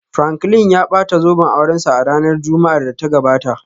Franklin ya bata zoben aurensa a ranar Juma'ar da ta gabata